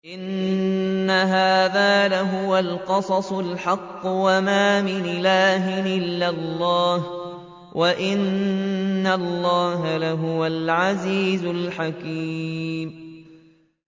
إِنَّ هَٰذَا لَهُوَ الْقَصَصُ الْحَقُّ ۚ وَمَا مِنْ إِلَٰهٍ إِلَّا اللَّهُ ۚ وَإِنَّ اللَّهَ لَهُوَ الْعَزِيزُ الْحَكِيمُ